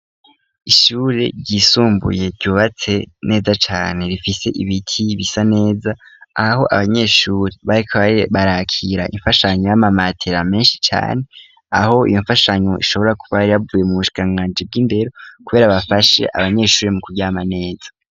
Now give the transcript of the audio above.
ishuri ryisumbuye ryubatse neza cane rifise ibiti bisa neza aho abanyeshuri barikbari barakira imfashanyo y'amamatera menshi cyane aho iyo mfashanyo ishobora kuba ari bavuye mu bushikanganje bw'imbero kubera bafashe abanyeshuri mu kuryama neza